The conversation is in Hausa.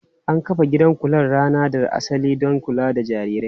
An kafa gidan kular rana da asali don kula da jarirai.